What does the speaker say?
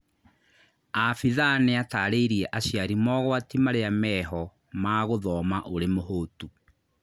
Abithaa nĩatarĩirie aciari mogwati marĩa meho ma gũthoma ũrĩ mũhũtu